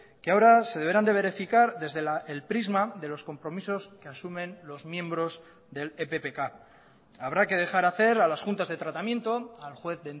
que ahora se deberán de verificar desde el prisma de los compromisos que asumen los miembros del eppk habrá que dejar hacer a las juntas de tratamiento al juez